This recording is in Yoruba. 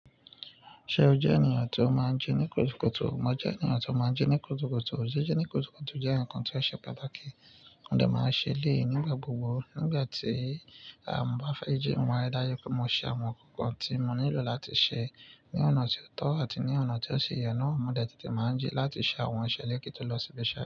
Ṣe o jẹ ènìyàn ti o maa n ji ni kùtùkùtù? Mo jẹ ènìyàn ti o maa n ji ni kùtùkùtù. Jiji ni kùtùkùtù jẹ nkan ti o ṣe pàtàkì. Mo dẹ máa ń ṣe eléyi nígbà gbogbo. Nígbà tí a bá fẹ́ jẹun, mari dáju pé mo ṣe àwọn ǹkan tí mo nílò láti ṣe ní ọ̀nà tí ó tọ́ àti ní ọ̀nà tí ó ṣi ye nà. Mo dẹ tètè máa ń jí láti ṣe àwọn iṣẹ́ ilé kí tó lọ síbi iṣẹ́.